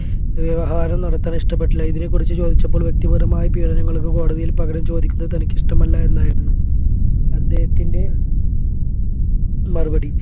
വ്യവഹാരം നടത്താൻ ഇഷ്ടപ്പെട്ടില്ല ഇതിനെകുറിച്ച് ചോദിച്ചപ്പോൾ വ്യക്തിപരമായ പീഡനങ്ങൾക്ക് കോടതിയിൽ പകരം ചോദിക്കുന്നത് തനിക്കിഷ്ടമെല്ല എന്നായിരുന്നു അദ്ദേഹത്തിൻെറ മറുപടി